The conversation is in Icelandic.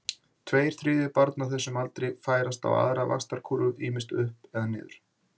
Tveir þriðju barna á þessum aldri færast á aðra vaxtarkúrfu, ýmist upp eða niður.